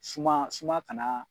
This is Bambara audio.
Suma suma kana